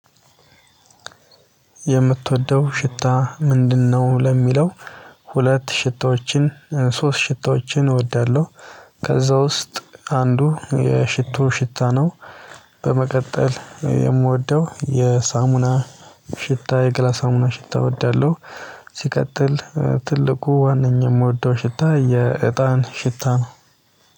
የምትወደው ሽታ ምንድነው? ለሚለው ሁለት ሽታዎችን ሶስት ሽታዎችን እወዳለሁ ከዛ ውስጥ አንዱ የሽቶ ሽታ ነው። በመቀጠል የምወደው የሳሙና ሽታ የገላ ሳሙና ሽታ እወዳለሁ። ሲቀጥል ትልቁ ዋነኛው የምወደው ሽታ የእጣን ሽታ ነው።